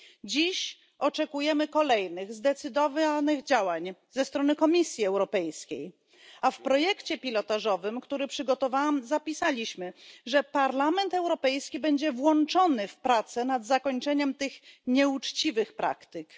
Dziś oczekujemy kolejnych zdecydowanych działań ze strony Komisji Europejskiej, a w projekcie pilotażowym, który przygotowałam, zapisaliśmy, że Parlament Europejski będzie brał udział w pracach nad położeniem kresu tym nieuczciwym praktykom.